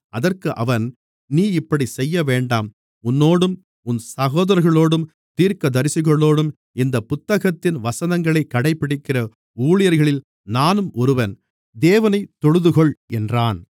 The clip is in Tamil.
அதற்கு அவன் நீ இப்படிச் செய்யவேண்டாம் உன்னோடும் உன் சகோதரர்களோடும் தீர்க்கதரிசிகளோடும் இந்தப் புத்தகத்தின் வசனங்களைக் கடைபிடிக்கிற ஊழியர்களில் நானும் ஒருவன் தேவனைத் தொழுதுகொள் என்றான்